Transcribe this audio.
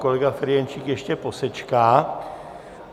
Kolega Ferjenčík ještě posečká.